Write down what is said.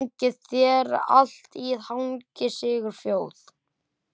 Gangi þér allt í haginn, Sigurfljóð.